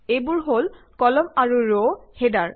এইবোৰ হল কলাম আৰু ৰ হেডাৰ